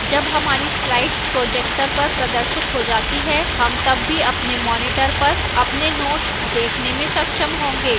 जब हमारी slides projector पर प्रदर्शित हो जाती हैं हम तब भी अपने monitor पर अपने notes देखने में सक्षम होंगे